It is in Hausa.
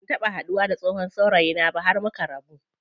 Ban taɓa haduwa da tsohon saurayina ba har muka rabu.